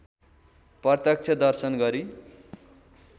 प्रत्यक्ष दर्शन गरी